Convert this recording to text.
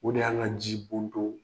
O de y'an ka jibonto ye.